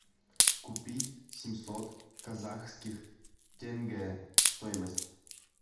купить семьсот казахских тенге стоимость